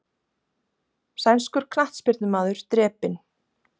Sænskur knattspyrnumaður drepinn